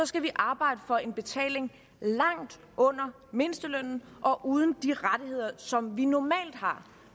skal vi arbejde for en betaling langt under mindstelønnen og uden de rettigheder som vi normalt har